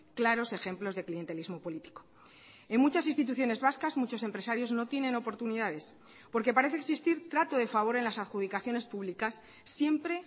claros ejemplos de clientelismo político en muchas instituciones vascas muchos empresarios no tienen oportunidades porque parece existir trato de favor en las adjudicaciones públicas siempre